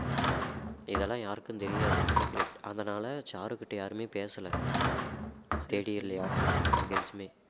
இதெல்லாம் யாருக்கும் தெரியாது secret அதனால சாருகிட்ட யாருமே பேசல third year ல யாருமே நாலு girls மே